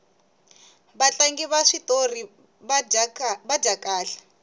vatlangi va switori va dya kahle